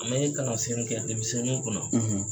An bɛ kalansen kɛ denminsɛnniw kun na.